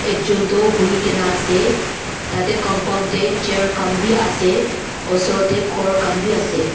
ekjun toh buhi gina ase tade compound de chair khan b ase osor de ghor khan b ase.